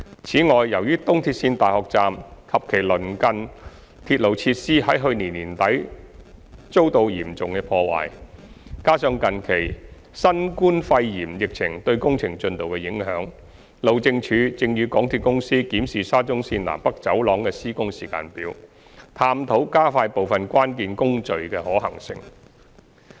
此外，由於東鐵綫大學站及其鄰近鐵路設施在去年年底遭到嚴重破壞，加上近期新冠肺炎疫情對工程進度的影響，路政署正與港鐵公司檢視沙中綫"南北走廊"的施工時間表，探討加快部分關鍵工序的可行性。